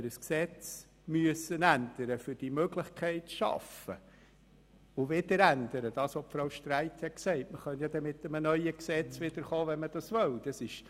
Grossrätin Streit hat gesagt, man könne dann wieder mit einem neuen Gesetz kommen, wenn man diese Möglichkeit haben wolle.